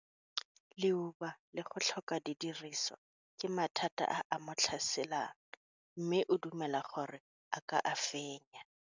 Leuba le go tlhoka didiriswa ke mathata a a mo tlhaselang, mme o dumela gore a ka a fenya.